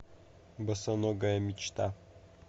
босоногая мечта